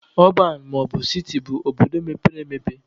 Ọban maọbụ siti bụ obodo mepere emepe